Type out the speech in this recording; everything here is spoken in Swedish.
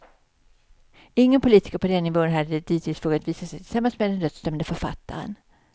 Ingen politiker på den nivån hade dittills vågat visa sig tillsammans med den dödsdömde författaren.